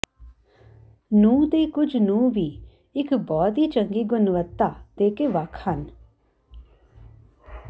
ਨੂੰ ਦੇ ਕੁਝ ਨੂੰ ਵੀ ਇੱਕ ਬਹੁਤ ਹੀ ਚੰਗੀ ਗੁਣਵੱਤਾ ਦੇ ਕੇ ਵੱਖ ਹਨ